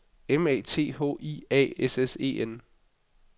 M A T H I A S S E N